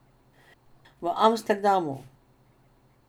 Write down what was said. V Amsterdamu.